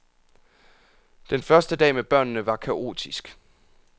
Den første dag med børnene var kaotisk.